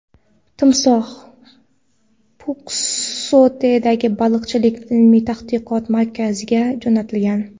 Timsoh Pxuketdagi baliqchilik ilmiy-tadqiqot markaziga jo‘natilgan.